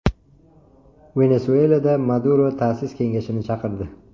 Venesuelada Maduro ta’sis kengashini chaqirdi.